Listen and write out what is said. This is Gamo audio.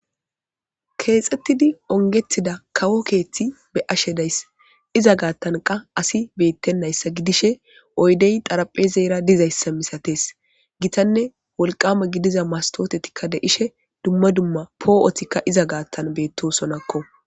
Kexetidi ongetida kawo keethi beyashe daysi iza gathan qase asi betemaysa gidishe oydey xarapezera dizaysa milates hitanne wolqama gidiza mastotetika de'ishe duma duma po'otika iza gathan betosonako.